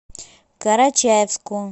карачаевску